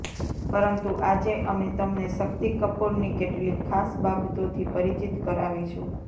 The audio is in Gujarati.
પરંતુ આજે અમે તમને શક્તિ કપૂરની કેટલીક ખાસ બાબતોથી પરિચિત કરાવીશું